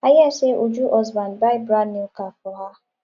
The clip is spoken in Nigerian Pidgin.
i hear say uju husband buy brand new car for her